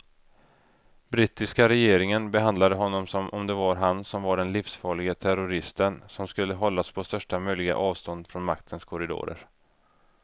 Brittiska regeringen behandlade honom som om det var han som var den livsfarlige terroristen som skulle hållas på största möjliga avstånd från maktens korridorer.